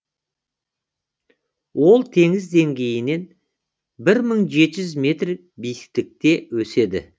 ол теңіз деңгейінен мың жеті жүз метр биіктікте өседі